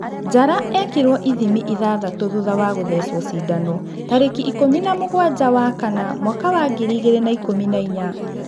Njara ekirwo ithimi ithathatũ thutha wa gũthecwo cindano - tarĩki ikũmi namũgwanja wakana mwaka wa ngiri igĩrĩ na ikũmi nainya.